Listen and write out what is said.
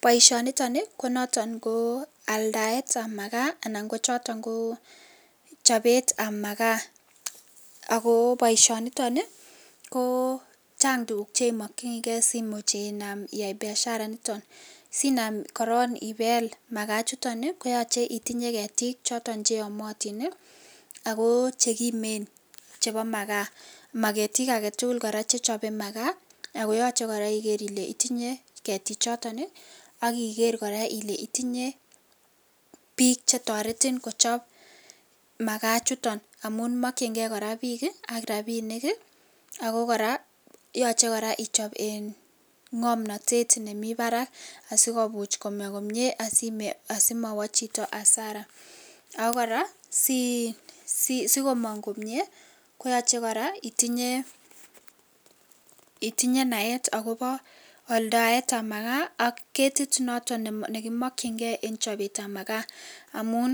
Boishoniton ko noton ko aldaetab makaa ko choton ko chobetab makaa ak ko boishoniton ko chang tukuk chemokyinike simuch iyai biashara initon simaam korong ibeel makaa ichuton koyoche itinye ketik choton cheyomotin ak ko chekimen chebo makaa, maketik aketukul chechobe makaa akoyoche kora Iker ilee itinye ketichoton ak Iker kora ilee itinye biik chetoretin kochob makaa ichuton amun mokyinge kora biik ak rabinik ak ko kora yoche kora ichob iin ng'omnotet nemii barak asikomuch kobwa komnye asimowo chito asara ak ko kora asikimong komnye koyoche kora itinye itinye naet akobo aldaetab makaa ak ketit noton nekimokying'e en chobetab makaa amun